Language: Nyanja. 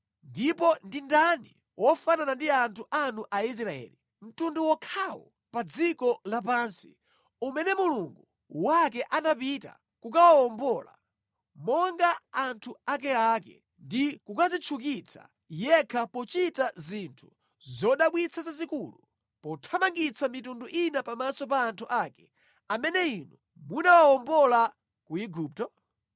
Ndipo ndi ndani wofanana ndi anthu anu Aisraeli, mtundu wokhawo pa dziko lapansi umene Mulungu wake anapita kukawuwombola, monga anthu akeake ndi kukadzitchukitsa yekha pochita zinthu zodabwitsa zazikulu, pothamangitsa mitundu ina pamaso pa anthu ake, amene Inu munawawombola ku Igupto?